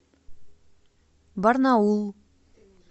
барнаул